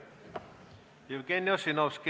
Jevgeni Ossinovski.